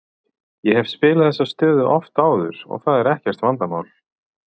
Ég hef spilað þessa stöðu oft áður og það er ekkert vandamál.